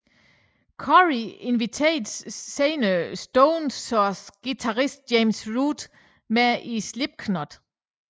Corey inviterede senere Stone Sours guitarist James Root med i Slipknot